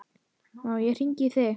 Má ég hringja í þig?